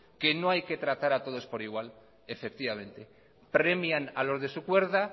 que no hay que tratar a todos por igual efectivamente premian a los de su cuerda